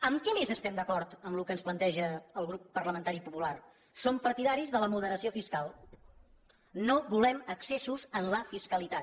en què més estem d’acord del que ens planteja el grup parlamentari popular som partidaris de la moderació fiscal no volem excessos en la fiscalitat